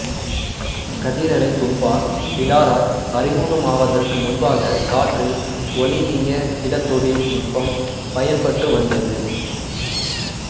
கதிரலைக் கும்பா இராடார் அறிமுகமாவதற்கு முன்பாக காற்றில் ஒலியிய இடத்தொழில் நுட்பம் பயன்பட்டு வந்தது